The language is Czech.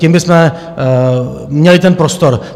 Tím bychom měli ten prostor.